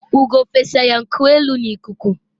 ugo fesa ya nku elu na ikuku